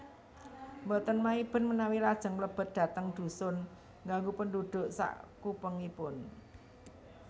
Boten maiben manawi lajeng mlebet dhateng dhusun ngganggu pendhudhuk sakupengipun